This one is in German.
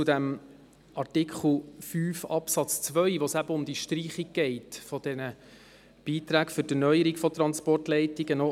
Bei Artikel 5 Absatz 2 geht es um die Streichung der Beiträge für die Erneuerung von Transportleitungen.